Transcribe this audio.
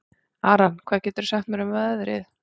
Aran, hvað geturðu sagt mér um veðrið?